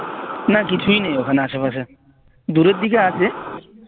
না কিছুই নেই ওখানে আসে পাশে দুপরের দিকে আছে